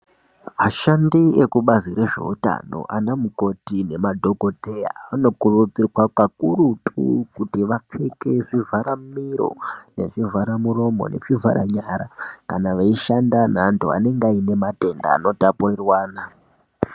Ashandi ekubazi rezveutano anamukoti nemadhokotera anokuridzirwa kakurutu kuti vapfeke zvivhara miro nezvivhara muromo nazvi vhara nyara kana veishanda nevandu anenge ane matenda anotapurirwana